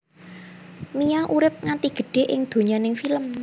Mia urip nganti gedhé ing donyaning film